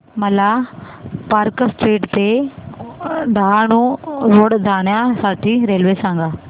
मला park street ते Dahanu road जाण्या साठी रेल्वे सांगा